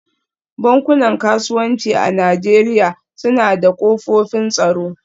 Bankunan kasuwanci a Najeriya suna da kofofin tsaro